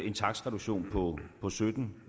en takstreduktion på sytten